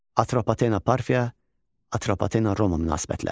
Atropatena Parfiya, Atropatena Roma münasibətləri.